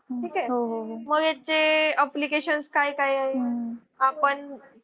मग याचे application काय काय आहे आपण